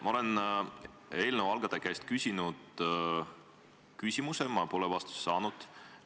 Ma olen eelnõu algataja käest küsimuse küsinud ja ma pole vastust saanud.